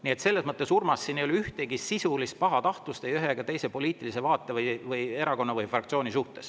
Nii et selles mõttes, Urmas, ei ole siin mingit sisulist pahatahtlust ei ühe ega teise poliitilise vaate, erakonna ega fraktsiooni vastu.